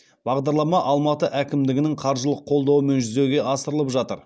бағдарлама алматы әкімдігінің қаржылық қолдауымен жүзеге асырылып жатыр